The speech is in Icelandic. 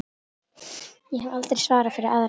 Ég hef aldrei svarað fyrir aðra.